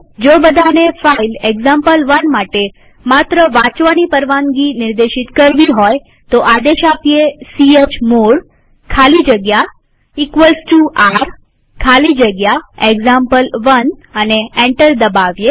જો બધાને file example one માટે માત્ર વાંચવાની પરવાનગી નિર્દેશિત કરવી હોય તો આદેશ આપીએ ચમોડ ખાલી જગ્યા r ખાલી જગ્યા એક્ઝામ્પલ1 અને એન્ટર દબાવીએ